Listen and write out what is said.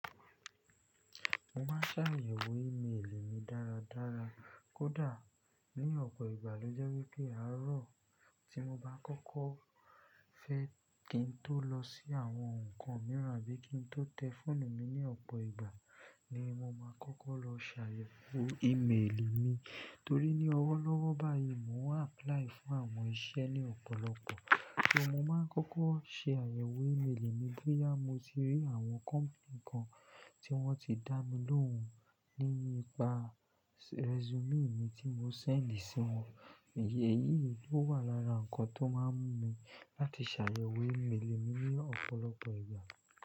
Mo máa ń ṣàyẹ̀wò e-mail mi dára dára. Kódà ní ọ̀pọ̀ ìgbà ló jẹ́ wípé àárọ̀ tí mo bá kọ́kọ́ fẹ́ kí n tó lọ sí àwọn ǹkan mìíràn bí i kí n tó tẹ fóònù mi ní ọ̀pọ̀ ìgbà ni mo máa kọ́kọ́ lọ ṣàyẹ̀wò e-mail mi. Torí ní ọwọ́ lọ́wọ́ báyìí mo ń apply fún àwọn iṣẹ́ ní ọ̀pọ̀lọpọ̀, mo máa ń kọ́kọ́ ṣe àyẹ̀wò e-mail mi bóyá mo ti rí àwọn company kan tí wọ́n ti dá mi lóhùn nípa resume mi tí mo send sí wọn. Ǹjẹ́ èyí ló wà lára ǹkan tó máa ń mú mi láti ṣàyẹ̀wò e-mail mi ní ọ̀pọ̀lọpọ̀ ìgbà.